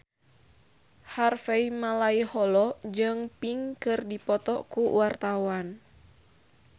Harvey Malaiholo jeung Pink keur dipoto ku wartawan